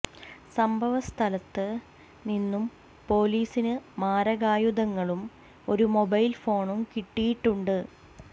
സംഭവ സ്ഥലത്ത് നിന്നും പോലീസിന് മാരകായുധങ്ങളും ഒരു മൊബൈല് ഫോണും കിട്ടിയിട്ടുണ്ട്